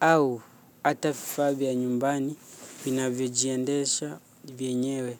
Au hata vifaa vya nyumbani vinavyo jiendesha vyenyewe.